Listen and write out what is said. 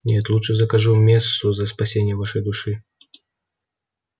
нет лучше закажу мессу за спасение вашей души